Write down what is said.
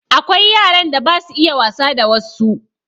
Akwai yaran da basu iya wasa da wassu